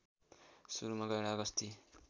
सुरुमा गैंडा गस्ती